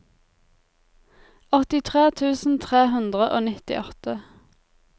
åttitre tusen tre hundre og nittiåtte